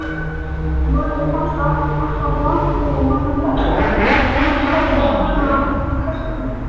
Júlíu fannst alltaf vont þegar mamma kallaði hana krakkann.